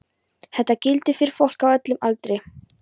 Þetta gildir fyrir fólk á öllum aldri.